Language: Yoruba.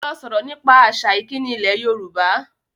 Lọ sọ̀rọ̀ nípa àṣà ìkíni ilẹ̀ Yorùbá!